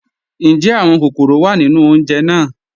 Njẹ́ awọn kọkọ́rọ́ wá nínu ọ̀unjè náà?